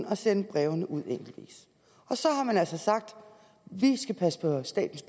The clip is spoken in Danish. at sende brevene ud enkeltvis og så har man altså sagt vi skal passe på statens